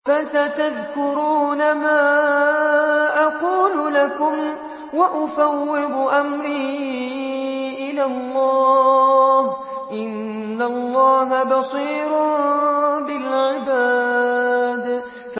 فَسَتَذْكُرُونَ مَا أَقُولُ لَكُمْ ۚ وَأُفَوِّضُ أَمْرِي إِلَى اللَّهِ ۚ إِنَّ اللَّهَ بَصِيرٌ بِالْعِبَادِ